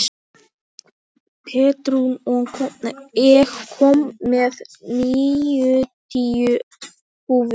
Pétrún, ég kom með níutíu húfur!